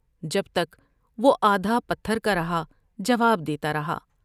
جب تک وہ آدھا پتھر کا رہا جواب دیتا رہا ۔